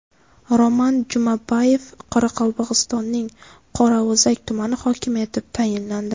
Roman Jumabayev Qoraqalpog‘istonning Qorao‘zak tumani hokimi etib tayinlandi.